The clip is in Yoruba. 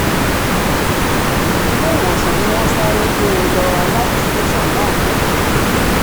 iléewòsàn ni wọ́n sáré gbé e lọ láti tẹ̀sán náà fún ìtọ́jú